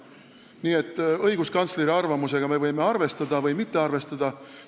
Nii et õiguskantsleri arvamusega me võime arvestada või mitte arvestada.